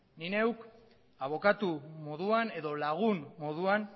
nik neuk abokatu moduan edo lagun moduan